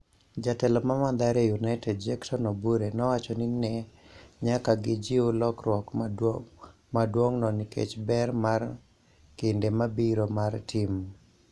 Jatelo ma Mathare United Jectone Obure nowacho ni ne nyaka gijiw lokruok maduong'no nikeck ber mar kinde mabiro mar tim.